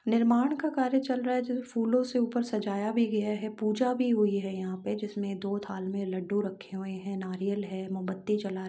निर्माण का कार्य चल रहा है। फूलों से ऊपर सजाया भी गया है। पूजा भी हुई है यहाँ पे । जिसमे दो थाली मे लड्डू रखे हुए है नारियल है मोमबत्ती जला --